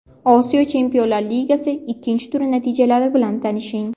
Osiyo Chempionlar ligasi ikkinchi turi natijalari bilan tanishing.